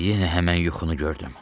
Yenə həmən yuxunu gördüm.